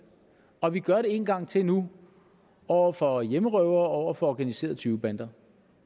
og vi gør det en gang til nu over for hjemmerøvere og over for organiserede tyvebander